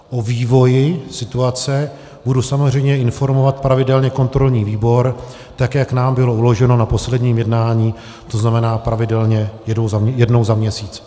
O vývoji situace budu samozřejmě informovat pravidelně kontrolní výbor tak, jak nám bylo uloženo na posledním jednání, to znamená, pravidelně jednou za měsíc.